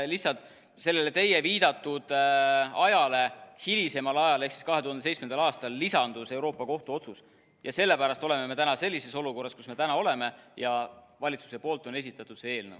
Lihtsalt sellest teie viidatud ajast hilisemal ajal ehk 2017 lisandus Euroopa Kohtu otsus, ja sellepärast oleme me täna sellises olukorras, kus me oleme, ja valitsus on esitanud selle eelnõu.